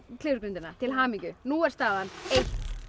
klifurgrindina til hamingju nú er staðan